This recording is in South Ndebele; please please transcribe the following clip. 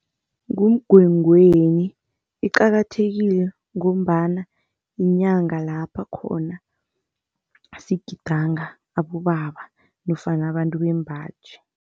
NguMngwengweni iqakathekile ngombana yinyanga lapho khona sigidinga abobaba nofana abantu bembaji.